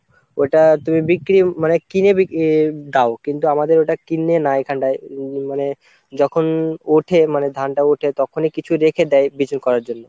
ওটা তুমি বিক্রি মানে কিনে দাও কিন্তু আমাদের ওটা কিনে না এখানটায় মনে যখন ওঠে মানে ধানটা ওঠে তখনই কিছু রেখে দেয় বিচূল করার জন্য।